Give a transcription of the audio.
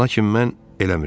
Lakin mən eləmirdim.